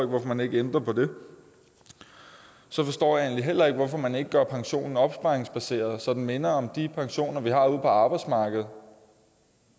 hvorfor man ikke ændrer på det så forstår jeg egentlig heller ikke hvorfor man ikke gør pensionen opsparingsbaseret så den minder om de pensioner vi har ude på arbejdsmarkedet